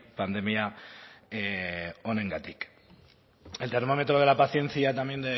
pandemia honengatik el termómetro de la paciencia también